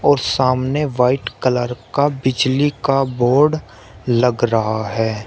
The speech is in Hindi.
और सामने व्हाइट कलर का बिजली का बोर्ड लग रहा है।